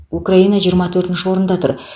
украина жиырма төртінші орында тұр